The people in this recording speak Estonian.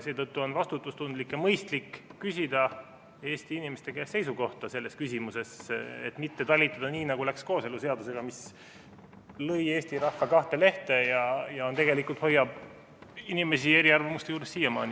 Seetõttu on vastutustundlik ja mõistlik küsida Eesti inimeste käest seisukohta selles küsimuses, et mitte talitada nii, nagu läks kooseluseadusega, mis lõi Eesti rahva kahte lehte ja tegelikult hoiab inimesi eri arvamustel siiamaani.